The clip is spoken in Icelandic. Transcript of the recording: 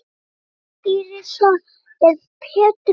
Sonur Írisar er Pétur Snær.